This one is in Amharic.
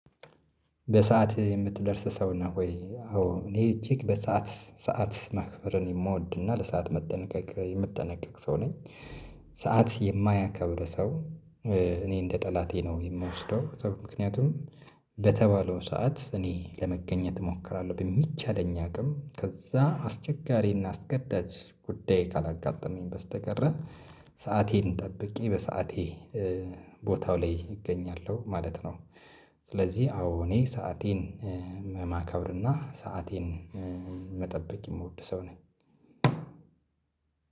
በሰአት የምትደርስ ሰው ነህ ወይ? አዎ እኔ እጅግ በሰአት ሰዓት ማክበርን የምወድና ለሰአት መጠንቀቅ የምጠነቀቅ ሰው ነኝ። ሰዓት የማያከብር ሰው። እኔ እንደ ጠላቴ ነው የምወስደው ምክንያቱም በተባለው ሰዓት እኔ ለመገኘት እሞክራለሁ በሚቻለኝ አቅም ከዛ አስቸጋሪና አስገዳጅ ጉዳይ ካላጋጠመኝ በስተቀረ ሰአቴን ጠብቄ በሰአቴ ኧቦታው ላይ እገኛለሁ ማለት ነው። ስለዚህ አዎ እኔ ሰአቴን ማከብርና ሰአቴን መጠበቅ የምወድ ሰው ነኝ።